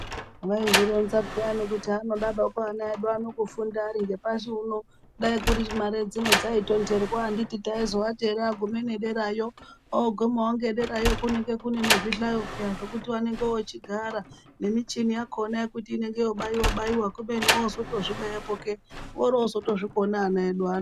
Vaizvironza peyani kuti hanodawo ana edu kufunda aringepashi uno dai kuri kuti mare dzino dzaitonherwa anditi taizoati agume ngederayo ,ogume ngederayo kunenge kunenezvihlayo peya zvekuti vanenge vochigara nemichini yakona yekuti inenge yeibaiwabaiwa kubeni wootozvibaya pooke orootozozvikona ana edua ano.